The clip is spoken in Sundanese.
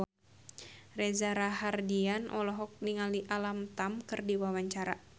Reza Rahardian olohok ningali Alam Tam keur diwawancara